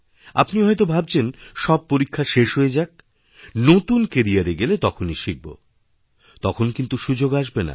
আপনিহয়ত ভাবছেন সব পরীক্ষা এক্সাম শেষ হয়ে যাক নতুন ক্যারির এ গেলে তখনই শিখব তখন কিন্তু সুযোগ আসবে না